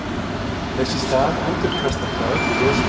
þess í stað endurkastar það öllu ljósinu